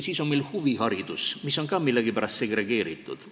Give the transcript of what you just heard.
Siis on meil huviharidus, mis on ka millegipärast segregeeritud.